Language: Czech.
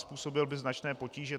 Způsobil by značné potíže.